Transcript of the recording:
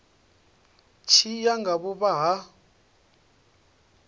tshi ya nga vhuvha ha